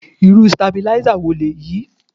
Irú Sitabílísà wo lèyí?